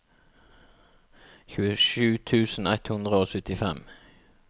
tjuesju tusen ett hundre og syttifem